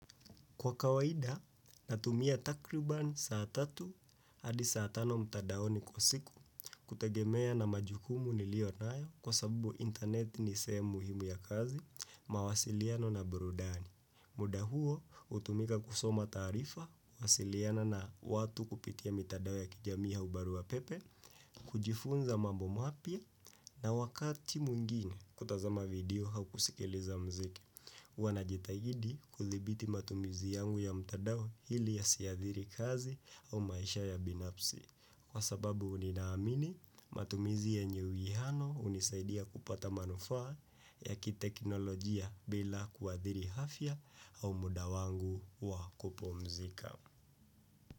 Kwa kawaida, natumia takriban saa tatu hadi saa tano mtandaoni kwa siku kutegemea na majukumu nilio nayo kwa sababu internet ni sehemu muhimu ya kazi, mawasiliano na burudani. Muda huo hutumika kusoma taarifa, kuwasiliana na watu kupitia mitandao ya kijamii au barua pepe, kujifunza mambo mapya na wakati mwingine kutazama video au kusikiliza muziki. Huwa najitahidi kuthibiti matumizi yangu ya mtandao ili yasiathiri kazi au maisha ya binafsi. Kwa sababu nina amini matumizi yenye uwiano hunisaidia kupata manufaa ya kiteknolojia bila kuathiri afya au muda wangu wa kupumzika.